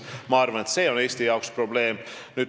Ma arvan, et see on Eesti jaoks probleem.